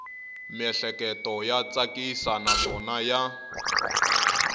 miehleketo ya tsakisa naswona ya